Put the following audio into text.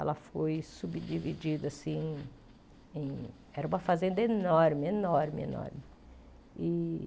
Ela foi subdividida assim em... Era uma fazenda enorme, enorme, enorme e.